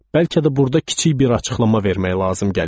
Bəlkə də burda kiçik bir açıqlama vermək lazım gəlir.